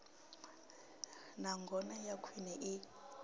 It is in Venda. na ngona ya khwine i